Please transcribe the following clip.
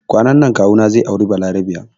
Kwanan nan kawu na zai aure balarabiya